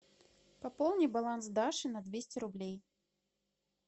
пополни баланс даши на двести рублей